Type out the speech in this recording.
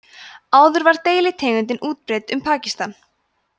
áður var deilitegundin útbreidd um pakistan